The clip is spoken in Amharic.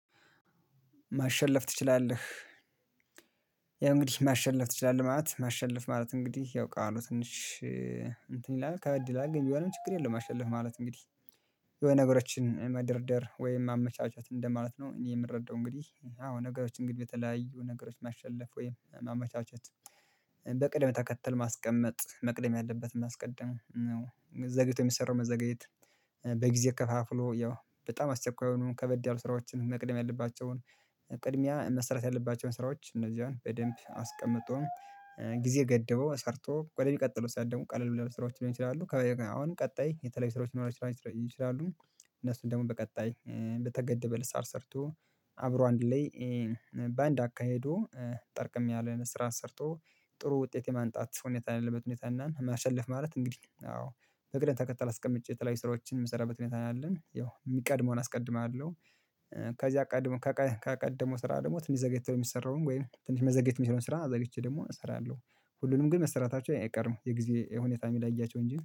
ማሸለፍ ትችላለህ። ያ እንግዲህ ማሸነፍ ትችላለህ ማለት ማሸለፍ ማለት እንግዲህ ያው ቃሉ ትንሽ እንትን ይላል ከእድል አግኝ የሆነም ችግር የለም አሸለፍ ማለት እንግዲህ። የሆነ ነገሮችን መደርደር ወይም ማመቻቸት እንደማለት ነው እኔ የምረዳው እንግዲህ አዎ ነገሮች እንግዲህ በተለያዩ ነገሮች ማሸለፍ ወይም ማመቻቸት። በቅድም ተከተል ማስቀመጥ መቅደም ያለበትን ማስቀደም ነው ዘግይቶ የሚሰራው ማዘጋየት በጊዜ ከፋፍሎ ያው በጣም አስቸኳይ የሆኑ ከበድ ያሉ ስራዎችን መቅደም ያለባቸውን። ቅድሚያ መሰረት ያለባቸውን ስራዎች እነዚህን በደንብ አስቀምጦ ጊዜ ገደበው ሰርቶ ቆደሚ ቀጥሎ ሰው ደግሞ ቀለል ብለው ስራዎች ሊሆኑ ይችላሉ አሁን ቀጣይ የተለያዩ ስራዎች ሊሆኑ ይችላሉ። እነሱን ደግሞ በቀጣይ በተገደበ ልሳር ሰርቶ አብሮ አንድ ላይ በአንድ አካሄዱ ጠርቅሜያለሁ። ስራ ሰርቶ ጥሩ ውጤት የማንጣት ሁኔታ አለበት ሁኔታ እናን የማሸልፍ ማለት እንግዲህ አዎ። በግልጽ ተከታታይ አስቀምጬ የተለያዩ ስራዎችን የምሰራበት ሁኔታ ነው ያለን ያው የሚቀድመውን አስቀድማለሁ። ከዛ አቀድሞ ከቀድሞ ስራ ደግሞ ትንሽ ዘገይተህ የሚሰራውን ወይም ትንሽ መዘግየት የሚሰራውን ስራ ዘግይቼ ደግሞ እሰራለሁ። ሁሉንም ግን መሰራታቸው አይቀርም የጊዜ ሁኔታ የሚለያቸው እንጂ